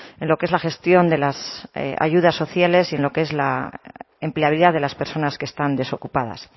en lo que es la gestión de las ayudas sociales y en lo que es la empleabilidad de las personas que están desocupadas